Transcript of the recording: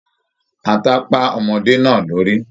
Ata pá ọmọde náà lórí.